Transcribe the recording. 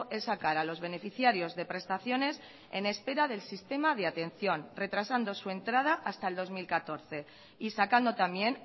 es sacar a los beneficiarios de prestaciones en espera del sistema de atención retrasando su entrada hasta el dos mil catorce y sacando también